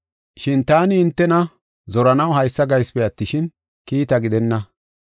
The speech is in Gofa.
Shin taani hintena zoranaw haysa gaysipe attishin, kiita gidenna.